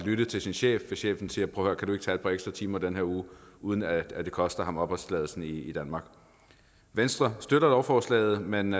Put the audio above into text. lytte til sin chef hvis chefen siger prøv at høre kan du ikke tage et par ekstra timer i den her uge uden at det koster ham opholdstilladelsen i danmark venstre støtter lovforslaget men